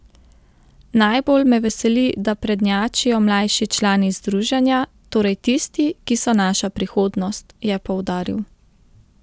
Najbolj me veseli, da prednjačijo mlajši člani združenja, torej tisti, ki so naša prihodnost, je poudaril.